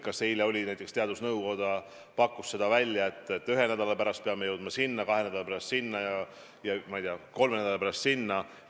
Kas eile näiteks teadusnõukogu pakkus välja, et ühe nädala pärast peame jõudma sinna, kahe nädala pärast sinna ja, ma ei tea, kolme nädala pärast sinna?